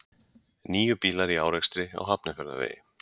Níu bílar í árekstri á Hafnarfjarðarvegi